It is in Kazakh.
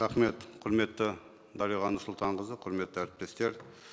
рахмет құрметті дариға нұрсұлтанқызы құрметті әріптестер